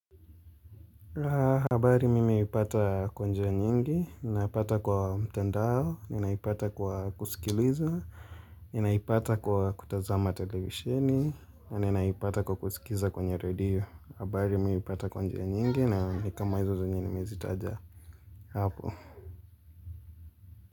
Habari mimi huipata kwa njia nyingi, na pata kwa mtandao, nina ipata kwa kusikiliza, nina ipata kwa kutazama televisheni, nina ipata kusikiliza kwenye redio. Habari mimi hupata kwa njia nyingi na nikama hizo zenye nimezitaja hapo.